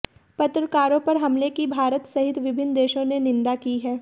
पत्रकारों पर हमले की भारत सहित विभिन्न देशों ने निंदा की है